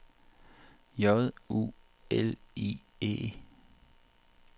J U L I E